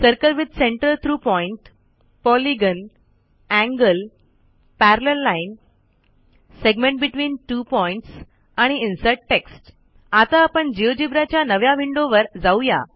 circle with center through point polygon angle parallel line segment between two points आणि insert text आता आपण Geogebraच्या नव्या विंडोवर जाऊ या